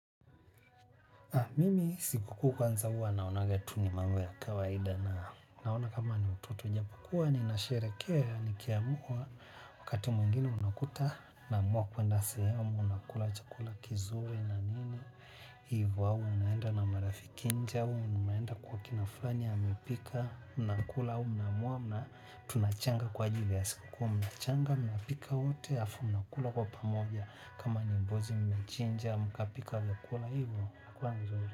Mimi siku kuu kwanza hua naonaga tu ni mambo ya kawaida na naona kama ni utoto japokuwa ninasheherekea nikiamua wakati mwingine unakuta naamua kwenda sehemu nakula chakula kizuri na nini Ivo au unenda na marafiki nje au unaenda kwa kina fulani amepika unakula au unaamua tunachanga kwa ajili ya siku kuu mnachanga mnapika wote hafu mnakula kwa pamoja kama ni mbuzi mmechinja mkapika vyakula hivyo.